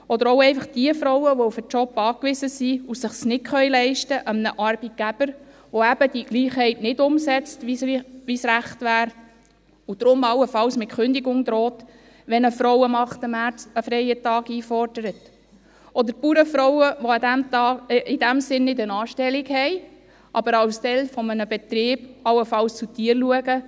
Oder auch einfach jene Frauen, die auf den Job angewiesen sind und es sich nicht leisten können, einem Arbeitgeber, der eben die Gleichheit nicht umsetzt, so wie es richtig wäre, und deshalb allenfalls mit Kündigung droht, wenn eine Frau am 8. März einen freien Tag einfordert; oder die Bauernfrauen, die in diesem Sinn keine Anstellung haben, aber als Teil eines Betriebs allenfalls zu Tieren schauen.